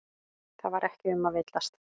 Það var ekki um að villast.